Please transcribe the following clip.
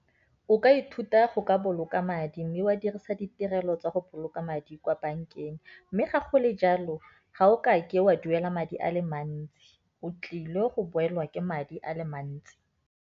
O ka ithuta go ka boloka madi mme wa dirisa ditirelo tsa go boloka madi kwa bankeng. Mme ga go le jalo ga o kake wa duela madi a le mantsi, o tlile go boelwa ke madi a le mantsi.